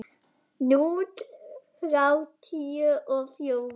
Núll þrjátíu og fjórir?